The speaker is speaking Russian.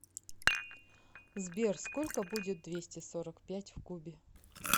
сбер сколько будет двести сорок пять в кубе